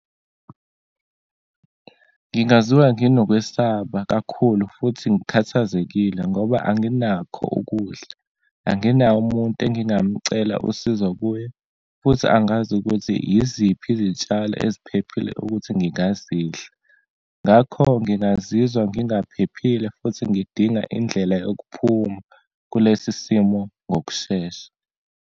Ngingaziwa nginokwesaba kakhulu futhi ngikhathazekile ngoba anginakho ukudla, anginawo umuntu engingamcela usizo kuye, futhi angazi ukuthi iziphi izitshalo eziphephile ukuthi ngingazidla. Ngakho ngingazizwa ngingaphephile futhi ngidinga indlela yokuphuma kulesi simo ngokushesha.